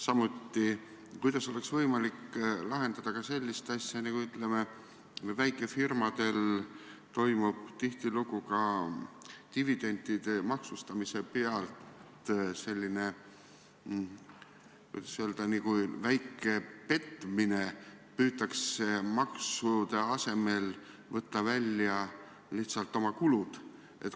Samuti, kuidas oleks võimalik lahendada sellist asja, nagu väikefirmadel toimub tihtilugu ka dividendide maksustamise pealt, selline justkui väike petmine – püütakse maksude asemel võtta välja lihtsalt oma kulud?